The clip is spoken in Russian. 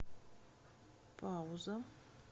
пауза